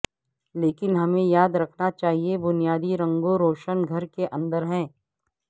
لیکن ہمیں یاد رکھنا چاہیے بنیادی رنگوں روشن گھر کے اندر ہیں